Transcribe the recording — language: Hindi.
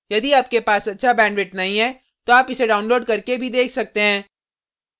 यदि आपके पास अच्छा bandwidth नहीं है तो आप इसको download करके भी देख सकते हैं